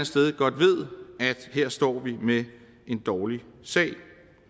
sted godt ved at her står vi med en dårlig sag vi